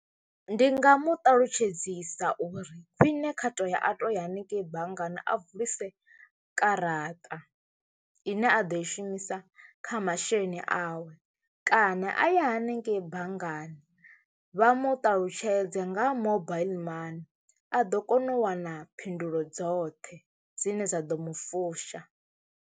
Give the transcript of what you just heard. Ndi nga mu ṱalutshedzisa uri khwine kha to ya a to ya haningei banngani a vulisa karaṱa ine a ḓo i shumisa kha masheleni awe kana a ya hanengeyi banngani vha mu ṱalutshedze nga mobaiḽi money a ḓo kona u wana phindulo dzoṱhe dzine dza ḓo mu fusha.